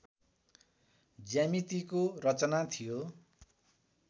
ज्यामितिको रचना थियो